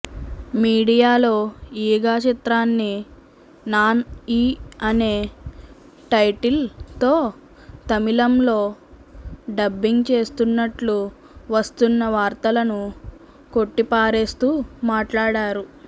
మీడియాలో ఈగ చిత్రాన్ని నాన్ ఈ అనే టైటిల్ తో తమిళంలో డబ్బింగ్ చేస్తున్నట్లు వస్తున్న వార్తలను కొట్టిపారేస్తూ మాట్లాడారు